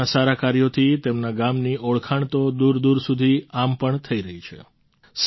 પોતાનાં સારાં કાર્યોથી તેમના ગામની ઓળખાણ તો દૂરદૂર સુધી આમ પણ થઈ રહી છે